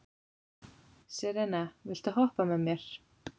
Serena, viltu hoppa með mér?